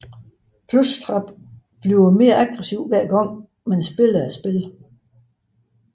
Plushtrap bliver mere aggressiv hver gang man spiller spillet